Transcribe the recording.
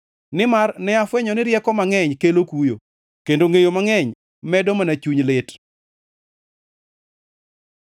Nimar ne afwenyo ni rieko mangʼeny kelo kuyo; kendo ngʼeyo mangʼeny medo mana chuny lit.